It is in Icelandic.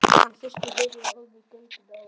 Hann hristi höfuðið og horfði í gaupnir sér.